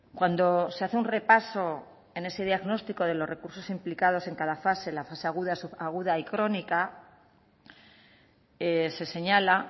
cuando se hace un repaso en ese diagnóstico de los recursos implicados en cada fase la fase aguda subaguda y crónica se señala